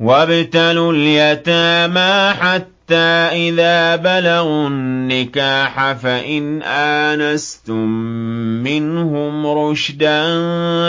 وَابْتَلُوا الْيَتَامَىٰ حَتَّىٰ إِذَا بَلَغُوا النِّكَاحَ فَإِنْ آنَسْتُم مِّنْهُمْ رُشْدًا